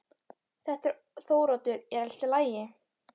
Þetta er Þóroddur, er allt í lagi?